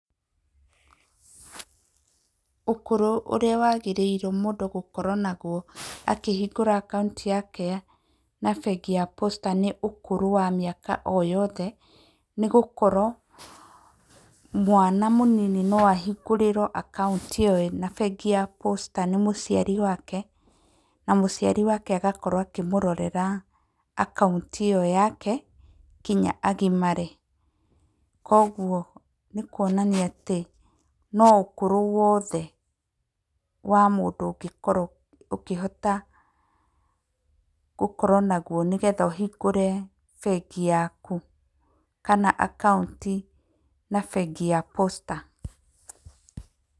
Ũkũrũ ũrĩa wagĩrĩirwo mũndũ akĩhingũra akaũnti yake na bengi ya Posta nĩ ũkũrũ wa mĩaka o yothe, nĩ gũkorwo mwana mũnini no ahingũrĩrwo akaũnti ĩyo na bengi ya Posta nĩ mũciari wake na mũciari wake agakorwo akĩmũrore akaũnti ĩyo yake nginya agimare. Koguo nĩ kuonania atĩ no ũkũrũ wothe wa mũndũ ũngĩkorwo ũkĩhota gũkorwo naguo nĩgetha ũhingũre bengi yaku kana akaũnti ya bengi ya Posta.